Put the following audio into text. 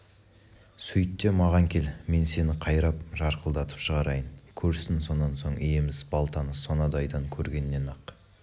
сөйт те маған кел мен сені қайрап жарқылдатып шығарайын көрсін сонан соң иеміз балтаны сонадайдан көргеннен-ақ